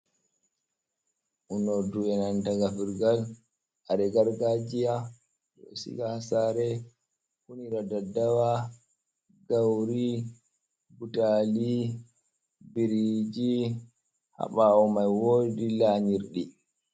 Unordu enanta gafurgal, kare gargajiya ɗo sega ha sare unira daddawa, gauri, butali, biriji, ha ɓawo mai wodi lanyirdi.